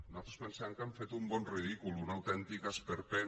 nosaltres pensem que han fet un bon ridícul un autèntic esperpent